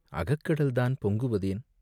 அகக்கடல்தான் பொங்குவதேன்?".